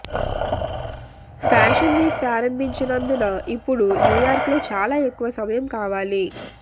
fashion week ప్రారంభించినందున ఇప్పుడు న్యూయార్క్లో చాలా ఎక్కువ సమయం కావాలి